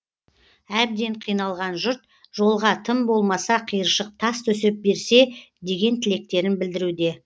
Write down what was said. әбден қиналған жұрт жолға тым болмаса қиыршық тас төсеп берсе деген тілектерін білдіруде